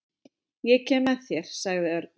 Ég kem með þér sagði Örn.